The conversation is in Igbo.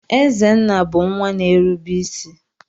Ezenna bu nwa na-erube isi.